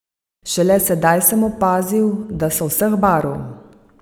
Šele sedaj sem opazil, da so vseh barv.